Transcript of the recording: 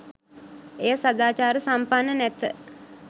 එය සදාචාර සම්පන්න නැත